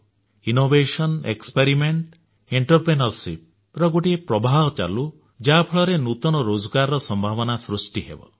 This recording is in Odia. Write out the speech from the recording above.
ଇନୋଭେସନ ଏକ୍ସପେରିମେଣ୍ଟ ଏଣ୍ଟରପ୍ରେନ୍ୟୋରସିପ୍ ର ଗୋଟିଏ ପ୍ରବାହ ଚାଲୁ ଯାହା ଫଳରେ ନୂତନ ରୋଜଗାରର ସମ୍ଭାବନା ସୃଷ୍ଟି ହେବ